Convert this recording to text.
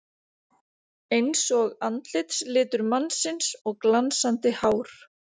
Einsog andlitslitur mannsins og glansandi hár.